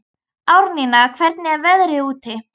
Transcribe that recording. Árnína, hvernig er veðrið úti?